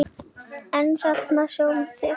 En þarna sjáið þið!